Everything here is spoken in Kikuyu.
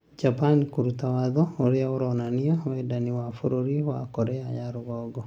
Japan kuruta watho ũria uronania wendani wa bũrũri wa Korea ya rũgongo